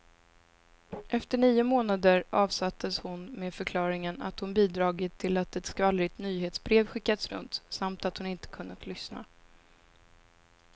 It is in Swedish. Efter nio månader avsattes hon med förklaringen att hon bidragit till att ett skvallrigt nyhetsbrev skickats runt, samt att hon inte kunnat lyssna.